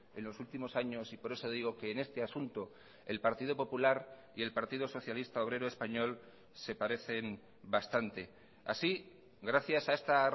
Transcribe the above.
en los últimos años y por eso digo que en este asunto el partido popular y el partido socialista obrero español se parecen bastante así gracias a esta